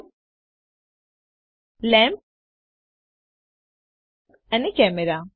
cube lamp અને camera